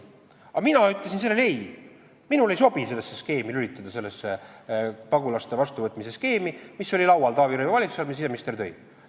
Aga mina ütlesin sellele ei, minul ei sobinud sellesse skeemi lülituda, sellesse pagulaste vastuvõtmise skeemi, mis oli laual Taavi Rõivase valitsuse ajal ja mille siseminister sinna tõi.